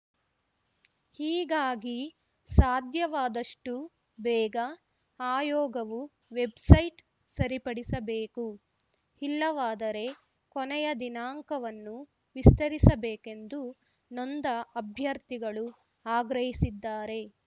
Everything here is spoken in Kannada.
ಹೀಗಾಗಿ ಸಾಧ್ಯವಾಷ್ಟುಬೇಗ ಆಯೋಗವು ವೆಬ್‌ಸೈಟ್‌ ಸರಿಪಡಿಸಬೇಕು ಇಲ್ಲವಾದರೆ ಕೊನೆಯ ದಿನಾಂಕವನ್ನು ವಿಸ್ತರಿಸಬೇಕೆಂದು ನೊಂದ ಅಭ್ಯರ್ಥಿಗಳು ಆಗ್ರಹಿಸಿದ್ದಾರೆ